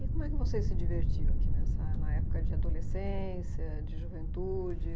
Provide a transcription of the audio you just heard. E como é que vocês se divertiam aqui nessa na época de adolescência, de juventude?